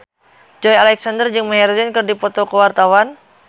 Joey Alexander jeung Maher Zein keur dipoto ku wartawan